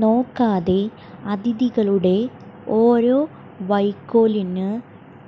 നോക്കാതെ അതിഥികളുടെ ഓരോ വൈക്കോൽ ന്